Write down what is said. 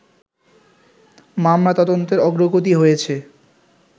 মামলা তদন্তের অগ্রগতি হয়েছে